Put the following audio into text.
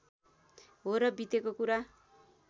हो र बितेको कुरा